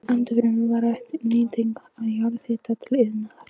Ennfremur var rædd nýting jarðhita til iðnaðar.